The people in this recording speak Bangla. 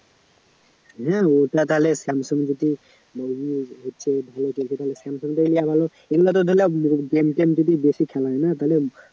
হ্যা ওটা তাহলে samsung যদি তাহলে samsung টাই ভালো এগুলা তো ধরলাম game টেম যদি বেশি খেলায় না তাইলে